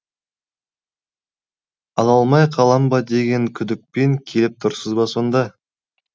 ала алмай қалам ба деген күдікпен келіп тұрсыз ба сонда